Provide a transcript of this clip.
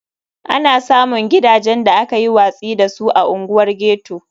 Ana samun gidajen da aka yi watsi da su a unguwar ghetto.